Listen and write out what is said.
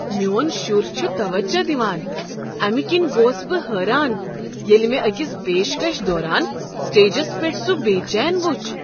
میٚون شُر چھ توجہ دوان، امہ کنۍ گوس بہٕ حٲران ییٚلہِ مےٚ أکس پیشکش دوران سٹیجس پیٹھ سوٖ بے چین وُچھ۔